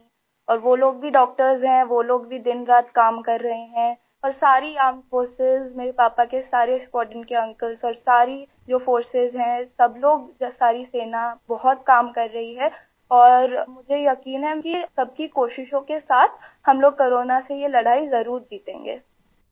میری ممی اور وہ لوگ بھی ، ڈاکٹر ہیں ، وہ لوگ بھی دن رات کام کر رہے ہیں اور ساری مسلح افواج ، میرے پاپا کے سارے اسکواڈرن کے انکل اور ساری جو فورس ہے ، سب لوگ ، ساری سینا بہت کام کر رہی ہے اور مجھے یقین ہےکہ سب کی کوششوں کے ساتھ ہم لوگ کورونا سے یہ لڑائی ضروری جیتیں گے